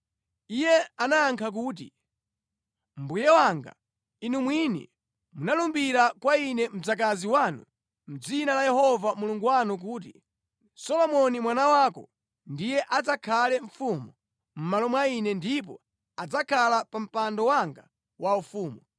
Iye anayankha kuti, “Mbuye wanga, inu mwini munalumbira kwa ine mdzakazi wanu mʼdzina la Yehova Mulungu wanu kuti, ‘Solomoni mwana wako ndiye adzakhale mfumu mʼmalo mwa ine, ndipo adzakhala pa mpando wanga waufumu.’